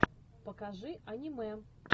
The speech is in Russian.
покажи аниме